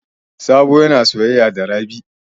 Sabo yana soyaya da Rabi.